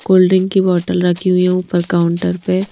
cold drink की बोतल रखी हुई है ऊपर काउंटर पे--